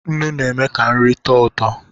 Nnu na-eme ka nri tọọ ụtọ.